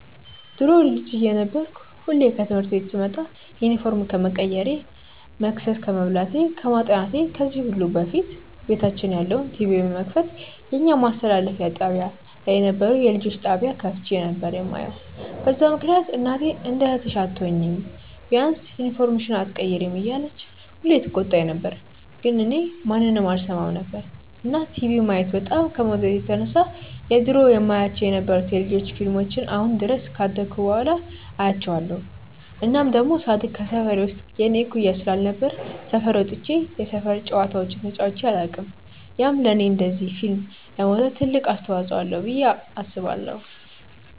ድሮ ልጅ እየነበርኩ ሁሌ ከትምህርት ቤት ስመጣ ዩኒፎርም ከመቀየሬ፣ መቅሰስ ከመብላቴ፣ ከማጥናቴ ከዚህ ሁሉ በፊት ቤታችን ያለውን ቲቪ በመክፈት የኛ ማስተላለፊያ ጣብያ ላይ የነበረውን የልጆች ጣብያ ከፍቼ ነበር የማየው፤ በዛ ምክንያት እናቴ እንደ እህትሽ አትሆኚም፤ ቢያንስ ዩኒፎርምሽን ኣትቀይሪም እያለች ሁሌ ትቆጣኝ ነበር ግን እኔ ማንንም አልሰማም ነበር። እና ቲቪ ማየት በጣም ከመውደዴ የተነሳ የድሮ የማያቸው የነበሩትን የ ልጆች ፊልሞችን አሁን ድረስ ካደኩ በኋላ አያቸዋለው። እናም ደሞ ሳድግ ከሰፈሬ ውስጥ የኔ እኩያ ስላልነበረ ሰፈር ወጥቼ የሰፈር ጨዋታዎችን ተጫዉቼ ኣላውቅም፤ ያም ለኔ እንደዚ ፊልም ለመውደድ ትልቅ አስተዋፅዎ አለው ብዬ አስባለው።